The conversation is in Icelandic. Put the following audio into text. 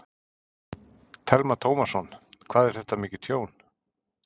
Telma Tómasson: Hvað er þetta mikið tjón?